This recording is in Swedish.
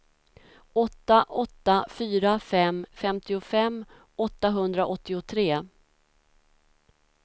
åtta åtta fyra fem femtiofem åttahundraåttiotre